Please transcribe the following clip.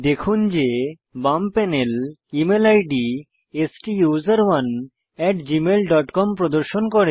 দেখুন যে এখন বাম প্যানেল ইমেল আইডি স্টুসেরনে gmailকম প্রদর্শন করে